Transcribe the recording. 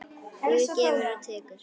Guð gefur og tekur.